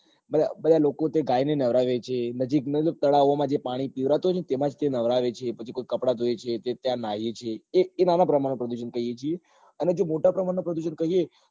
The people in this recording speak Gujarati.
બધા લોકો તે ગાય ને નવડાવે છે નજીક નાં તળાવ ઓ માં જે પાણી પીવારતું હોય ને તેમાં જ નવરાવે છે પછી કોઈ કપડા ધોવે છે તે ત્યાં નાય એ છે તે નાના નાના પ્રમાણ માં પ્રદુષણ કહીએ ચી અને જે મોટા પ્રમાણ માં પ્રદુષણ કહીએ